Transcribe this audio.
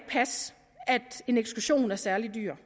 passe at en ekskursion er særlig dyr